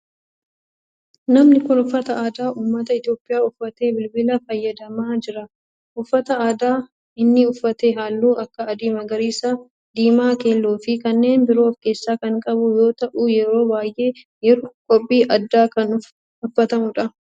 Namni kun uffata aadaa ummata Itiyoophiyaa uffatee bilbila fayyadamaa jira. uffata aadaa inni uffate halluu akka adii, magariisa, diimaa, keelloo fi kanneen biroo of keessaa kan qabu yoo ta'u yeroo baayyee yeroo qophii addaa kan uffatamudha.